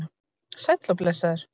Sæll og blessaður